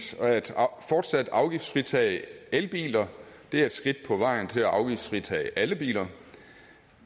fortsat at afgiftsfritage elbiler det er et skridt på vejen til at afgiftsfritage alle biler